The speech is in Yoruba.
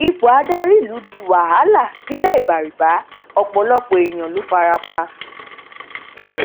ipò adarí ìlú di wàhálà nilẹ̀ ìbárìbà ọpọlọpọ èèyàn ló farapa